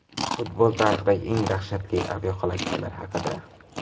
Futbol tarixidagi eng dahshatli aviahalokatlar haqida.